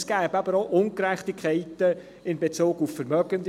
Es gäbe aber auch Ungerechtigkeiten in Bezug auf Vermögende.